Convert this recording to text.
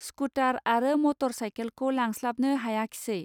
scooter आरो मटर साइखेलखौ लांस्लाबनो हायाखिसै